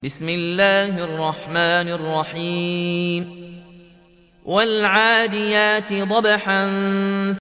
وَالْعَادِيَاتِ ضَبْحًا